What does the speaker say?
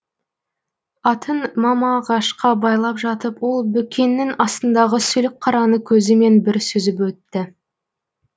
атын мама ағашқа байлап жатып ол бөкеннің астындағы сүлік қараны көзімен бір сүзіп өтті